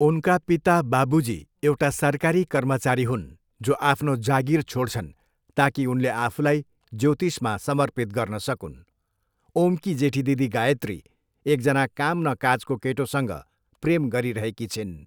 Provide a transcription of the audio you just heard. उनका पिता, बाबुजी एउटा सरकारी कर्मचारी हुन् जो आफ्नो जागिर छोड्छन् ताकि उनले आफूलाई ज्योतिषमा समर्पित गर्न सकून्, ओमकी जेठी दिदी गायत्री एकजना काम न काजको केटोसँग प्रेम गरिरहेकी छिन्।